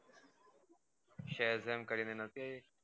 shezam કરી ને નહોતી આઇ